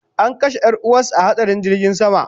An kashe yar'uwansa a hatsarin jirgin sama